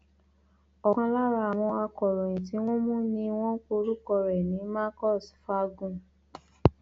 ọkan lára àwọn akọròyìn tí wọn mú ni wọn pe orúkọ ẹ ní marcus fangun